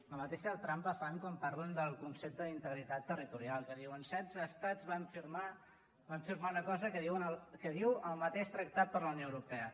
la mateixa trampa fan quan parlen del concepte d’integritat territorial que diuen setze estats van firmar una cosa que diu el mateix tractat de la unió europea